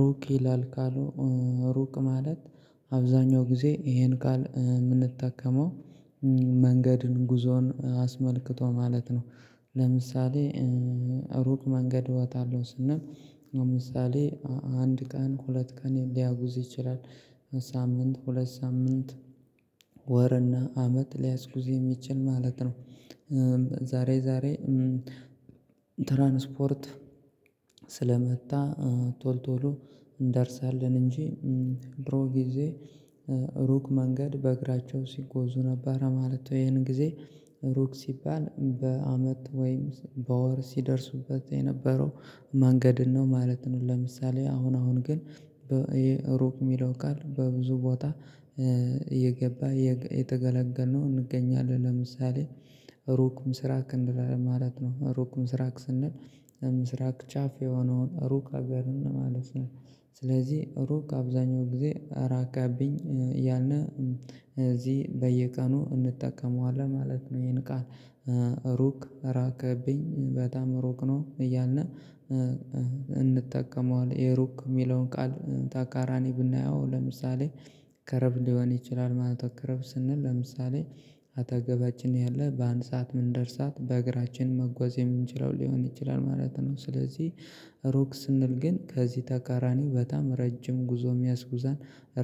ሩቅ ይላል ካሉ ሩቅ ማለት አብዛኛው ጊዜ ይሄን ቃል የምንጠቀመው መንገድን ጉዞን አስመልክቶ ማለት ነው። ለምሳሌ ሩቅ መንገድ እወጣለሁ ስንል አምሳሌ አንድ ቀን ሁለት ቀን ሊያጉዝ ይችላል። ሳምንት ሁለት ሳምንት ወር እና አመት ሊያስጉዝ የሚችል ማለት ነው። ዛሬ ዛሬ ትራንስፖርት ስለመጣ ቶል ቶሎ እንደርሳለን እንጂ ድሮ ጊዜ ሩቅ መንገድ በእግራቸው ሲጓዙ ነበር ማለት ወይ ይሄን ጊዜ ሩቅ ሲባል በአመት ወይም በወር ሲደርሱበት የነበረው መንገድን ነው ማለት ነው። ለምሳሌ አሁን አሁን ግን ይሄ ሩቅ የሚለው ቃል በብዙ ቦታ እየገባ የተገለገልነው እንገኛለን። ለምሳሌ ሩቅ ምስራቅ እንደማለት ነው ሩቅ ምስራቅ ስንል ምስራቅ ጫፍ የሆነው ሩቅ አገርን ማለት ነው። ስለዚህ ሩቅ አብዛኛው ጊዜ ራቀብኝ እያልነ እዚህ በየቀኑ እንጠቀመዋለን ማለት ነው። ይሄን ቃል ሩቅ ራቀብኝ በጣም ሩቅ ነው እያልን እንጠቀመዋለን። የሩቅ የሚለውን ቃል ተቃራኒ ብናየው ለምሳሌ ቅርብ ሊሆን ይችላል ማለት ቅርብ ስንል ለምሳሌ አጠገባችን ያለ በአንድ ሰዓት ምንደርሳት በእግራችን መጓዝ የምንችለው ሊሆን ይችላል ማለት ነው። ስለዚህ ሩቅ ስንል ግን ከዚህ ተቃራኒው በጣም ረጅም ጉዞ የሚያስጉዛን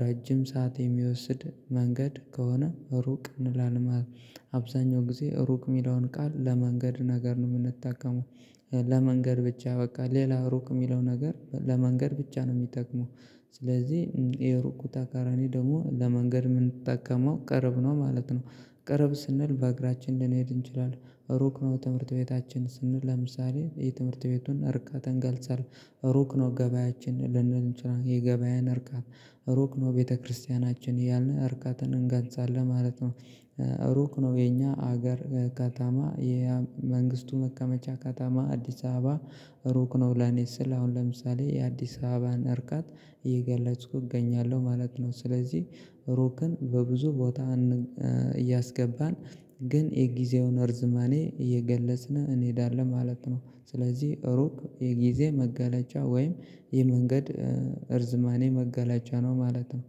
ረጅም ሰዓት የሚወስድ መንገድ ከሆነ ሩቅ እንላለን። አብዛኛው ጊዜ ሩቅ የሚለውን ቃል ለመንገድ ነገር ነው የምንጠቀመው። ለመንገድ ብቻ በቃ ሌላ ሩቅ የሚለው ነገር ለመንገድ ብቻ ነው የሚጠቅመው። ስለዚህ የሩቁ ተቃራኒ ደግሞ ለመንገድ የምንጠቀመው ቅርብ ነው ማለት ነው። ቅርብ ስንል በእግራችን ልንሄድ እንችላለን ሩቅ ነው ትምህርት ቤታችን ስንል ለምሳሌ የትምህርት ቤቱን እርቀት እንገልጻለን። ሩቅ ነው ገበያችን ልንል የገበያን እርቀት ሩቅ ነው ቤተክርስቲያናችን ያን እርቀትን እንገንጻለን ማለት ነው። ሩቅ ነው የኛ ሀገር ከተማ የመንግስቱ መቀመጫ ከተማ አዲስ አበባ። ሩቅ ነው ለኔ ስል አሁን ለምሳሌ የአዲስ አበባን እርቀት እየገለጽኩ እገኛለሁ ማለት ነው። ስለዚህ ሩቅን በብዙ ቦታ እያስገባን ግን የጊዜውን እርዝማኔ እየገለጽን እንሄዳለን ማለት ነው። ስለዚህ ሩቅ የጊዜ መገለጫ ወይም የመንገድ እርዝማኔ መገለጫ ነው ማለት ነው